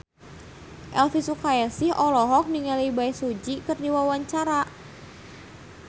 Elvy Sukaesih olohok ningali Bae Su Ji keur diwawancara